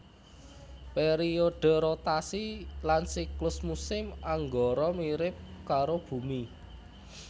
Pèriodhe rotasi lan siklus musim Anggara mirip karo Bumi